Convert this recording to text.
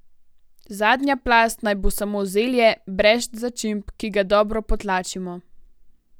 Zadnja plast naj bo samo zelje, brez začimb, ki ga dobro potlačimo.